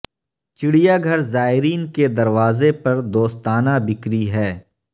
چڑیا گھر زائرین کے دروازے پر دوستانہ بکری ہے